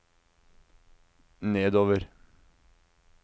nedover